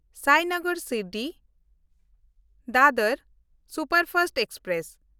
ᱥᱟᱭᱱᱚᱜᱚᱨ ᱥᱤᱨᱰᱤ–ᱰᱟᱫᱚᱨ superfast express